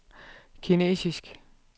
kinesisk